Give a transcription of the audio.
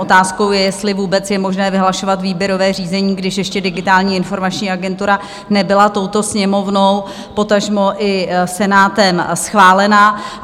Otázkou je, jestli vůbec je možné vyhlašovat výběrové řízení, když ještě Digitální informační agentura nebyla touto Sněmovnou, potažmo i Senátem, schválena.